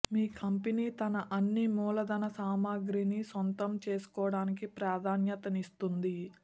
మీ company తన అన్ని మూలధన సామగ్రిని సొంతం చేసుకోవడానికి ప్రాధాన్యతనిస్తుంది